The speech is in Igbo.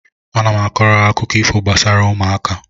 Ana m kọọrọ ha akụkọ ifo gbasara ụmụaka